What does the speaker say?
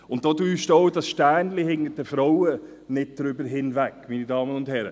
Darüber täuscht auch das Sternchen hinter den Frauen nicht darüber hinweg, meine Damen und Herren!